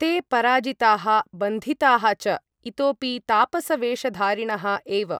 ते पराजिताः बन्धिताः च, इतोपि तापसवेषधारिणः एव।